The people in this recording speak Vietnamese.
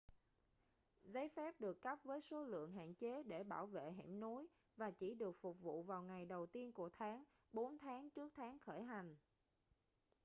giấy phép được cấp với số lượng hạn chế để bảo vệ hẻm núi và chỉ được phục vụ vào ngày đầu tiên của tháng bốn tháng trước tháng khởi hành